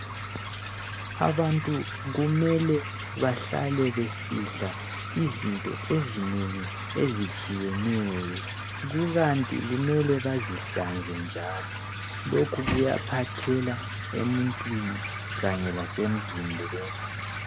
Abantu kumele bahlale besidla izinto ezinengi ezitshiyeneyo. Kukanti kumele bazihlanze njalo lokhu kuyaphathela emuntwini kanye lasemzimbeni.